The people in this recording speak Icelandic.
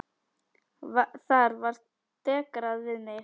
Þar var dekrað við mig.